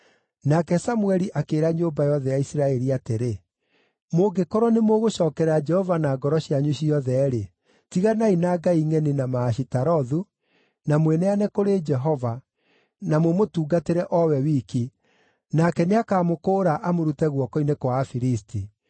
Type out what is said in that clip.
Nake Samũeli akĩĩra nyũmba yothe ya Isiraeli atĩrĩ, “Mũngĩkorwo nĩmũgũcookerera Jehova na ngoro cianyu ciothe-rĩ, tiganai na ngai ngʼeni na Maashitarothu, na mwĩneane kũrĩ Jehova, na mũmũtungatĩre o we wiki, nake nĩakamũkũũra amũrute guoko-inĩ kwa Afilisti.”